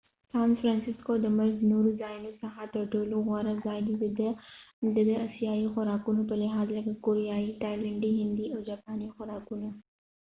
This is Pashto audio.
سان فرنسسکو د ملک دنورو ځایونو څخه تر ټولو غوره ځای دي د د اسیایې خوراکونو په لحاظ لکه کوریایې، تایلنډی، هندي او جاپانی خوراکونه